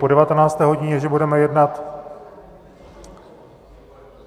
Po devatenácté hodině, že budeme jednat...